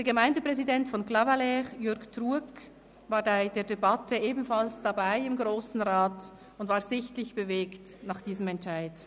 Der Gemeindepräsident von Clavaleyres, Jürg Truog, war bei der Debatte im Grossen Rat ebenfalls dabei, und er war sichtlich bewegt nach diesem Entscheid.